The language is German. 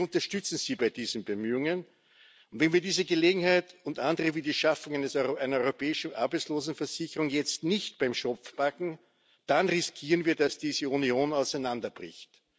Wir unterstützen Sie bei diesen Bemühungen, und wenn wir diese Gelegenheit und andere wie die Schaffung einer europäischen Arbeitslosenversicherung jetzt nicht beim Schopf packen, dann riskieren wir, dass diese Union auseinanderbricht.